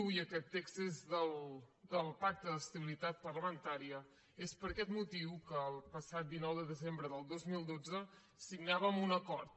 i aquest text és del pacte d’estabilitat parlamentària és per aquest motiu que el passat dinou de desembre del dos mil dotze signàvem un acord